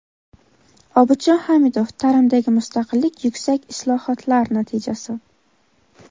Obidjon Xamidov: "Ta’limdagi mustaqillik – yuksak islohotlar natijasi".